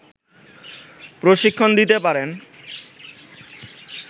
প্রশিক্ষণ দিতে পারবে